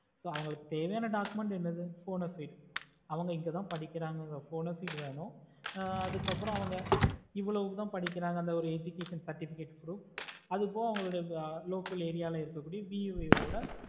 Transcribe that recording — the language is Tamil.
so அவங்களுக்கு தேவையான dpoucment என்னது bonafeid அவங்க இங்கதா படிக்குறாங்க அப்படின்ற bonafide வேணும் ஆஹ் அதுக்கு அப்புறம் அவங்க ஏவோலோத படிக்குறாங்க education certificate proof அப்றம் அவங்க லோக்கல் veo